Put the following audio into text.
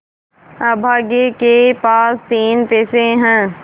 अभागे के पास तीन पैसे है